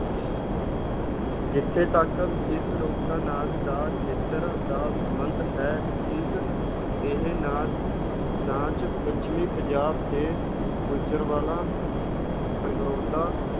ਜਿੱਥੇ ਤੱਕ ਇਸ ਲੋਕ-ਨਾਚ ਦਾ ਖੇਤਰ ਦਾ ਸੰਬੰਧ ਹੈ, ਇਸ ਇਹ ਨਾ~ ਨਾਚ ਪੱਛਮੀ ਪੰਜਾਬ ਦੇ ਗੁਜਰਵਾਲਾ, ਸਗਰੋਧਾ,